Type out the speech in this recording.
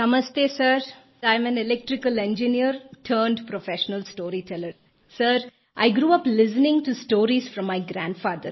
नमस्ते sir I am an electrical engineer turned professional storyteller sir I grew up listening to stories from my grandfather